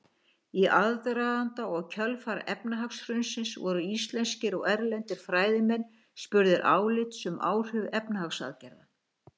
Í aðdraganda og kjölfar efnahagshrunsins voru íslenskir og erlendir fræðimenn spurðir álits um áhrif efnahagsaðgerða.